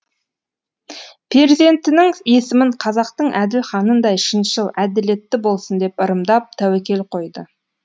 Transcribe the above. перзентінің есімін қазақтың әділ ханындай шыншыл әділетті болсын деп ырымдап тәуекел қойды